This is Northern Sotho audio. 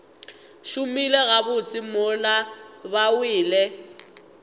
šomile gabotse mola ba wele